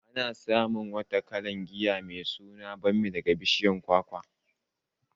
Ana samun wata kalar giya mai suna bammi daga bishiyar kwakwa.